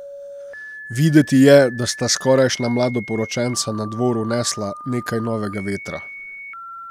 Videti je, da sta skorajšnja mladoporočenca na dvor vnesla nekaj novega vetra.